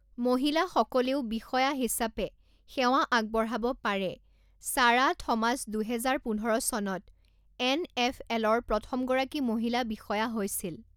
মহিলাসকলেও বিষয়া হিচাপে সেৱা আগবঢ়াব পাৰে ছাৰা থমাছ দুহেজাৰ পোন্ধৰ চনত এন এফ এলৰ প্ৰথমগৰাকী মহিলা বিষয়া হৈছিল।